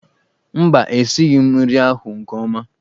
Mba, e sighị nri ahụ nke ọma.